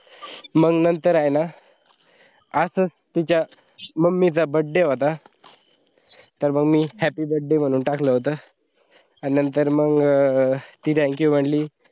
मंग नंतर हाइन असच तिच्या mummy चा birthday होता, त मंग मी happy birthday म्हणून टाकल होत, नंतर मंग अं थी thank you मनली.